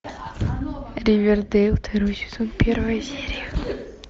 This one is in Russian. ривердейл второй сезон первая серия